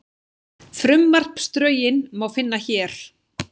Frumvarpsdrögin má finna hér